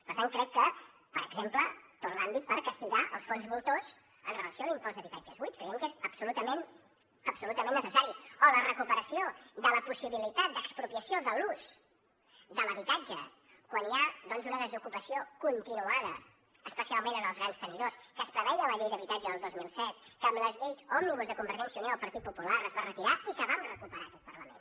per tant crec que per exemple tot l’àmbit per castigar els fons voltors amb relació a l’impost d’habitatges buits creiem que és absolutament absolutament necessari o la recuperació de la possibilitat d’expropiació de l’ús de l’habitatge quan hi ha una desocupació continuada especialment en els grans tenidors que es preveia a la llei d’habitatge del dos mil set que amb les lleis òmnibus de convergència i unió i el partit popular es va retirar i que va recuperar aquest parlament